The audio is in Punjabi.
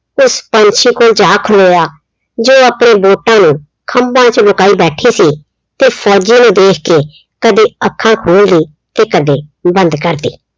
ਉਸ ਪੰਛੀ ਕੋਲ ਜਾ ਖਲੋਇਆ ਜੋ ਆਪਣੇ ਬੋਟਾਂ ਨੂੰ ਖੰਭਾਂ ਚ ਲੁਕਾਈ ਬੈਠੀ ਸੀ ਤੇ ਫੌਜੀ ਨੂੰ ਦੇਖ ਕੇ ਕਦੇ ਅੱਖਾਂ ਖੋਲਦੀ ਤੇ ਕਦੇ ਬੰਦ ਕਰਦੀ।